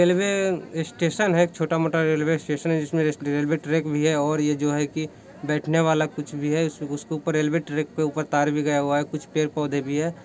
railway station है छोटा-मोटा railway station जिसमे रेलवे ट्रेक भी है और ये जो है की बैठने वाले कुछ भी है उसके ऊपर ---